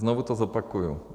Znovu to zopakuju.